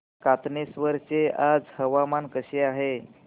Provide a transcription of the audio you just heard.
कातनेश्वर चे आज हवामान कसे आहे